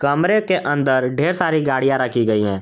कमरे के अंदर ढेर सारी गाड़ियां रखी गई हैं।